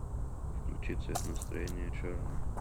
включи цвет настроения черный